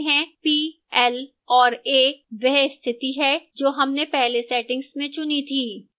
p l और a वह स्थिति है जो हमने पहले settings में चुनी थी